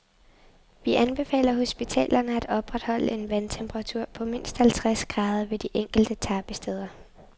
Vi anbefaler hospitalerne at opretholde en vandtemperatur på mindst halvtreds grader ved de enkelte tappesteder.